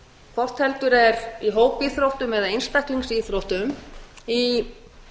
hvort heldur er í hópíþróttum eða einstaklingsíþróttum í